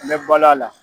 N bɛ balo a la